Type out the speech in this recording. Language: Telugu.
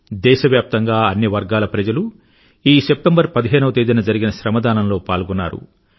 దేశవ్యాప్తంగా అన్ని వర్గాల ప్రజలూ ఈ సెప్టెంబర్ పదిహేను వ తేదీన జరిగిన శ్రమదానంలో పాల్గొన్నారు